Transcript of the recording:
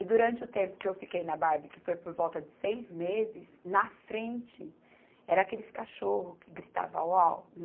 E durante o tempo que eu fiquei na Barbie, que foi por volta de seis meses, na frente era aqueles cachorros que gritavam au, au